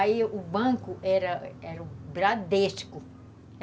Aí o banco era era o Bradesco.